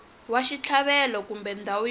wa xitlhavelo kumbe ndhawu yo